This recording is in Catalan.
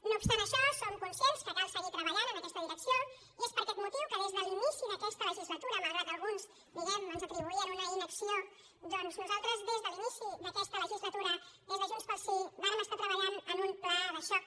no obstant això som conscients que cal seguir treballant en aquesta direcció i és per aquest motiu que des de l’inici d’aquesta legislatura malgrat que alguns diguem ne ens atribuïen una inacció doncs nosaltres des de l’inici d’aquesta legislatura des de junts pel sí vàrem estar treballant en un pla de xoc